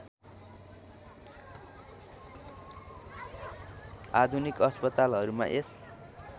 आधुनिक अस्पतालहरूमा यस